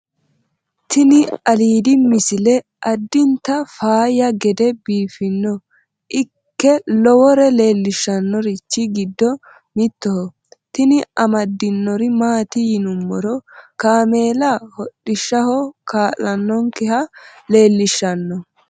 tini alidi misile adinta faayya gede binoa ike lowore leellishannorichi giddo mitoho tini amaddinori maati yinummoro kaamela hodhishshaho kaa'lannonkeha leellishshano